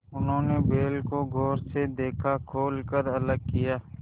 उन्होंने बैल को गौर से देखा खोल कर अलग किया